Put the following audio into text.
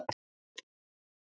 En þú segir ekkert.